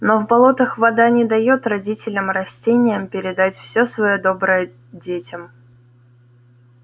но в болотах вода не даёт родителям-растениям передать всё своё доброе детям